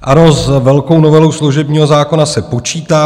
Ano, s velkou novelou služebního zákona se počítá.